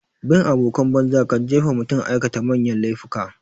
Bin abokan banza kan jefa mutum aikata manyan laifuka.